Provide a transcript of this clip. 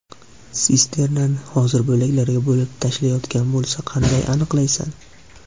Sisternani hozir bo‘laklarga bo‘lib tashlashayotgan bo‘lsa, qanday aniqlaysan?”.